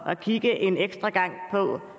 at kigge en ekstra gang